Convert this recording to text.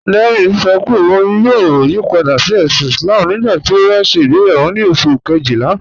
Dẹrín ṣọ́ pé ọ̀un yóò yípadà sí èṣìn Islám nígbàtí ó bá ṣẹ igbeyàwọ ni oṣù̀ kẹ́jìlá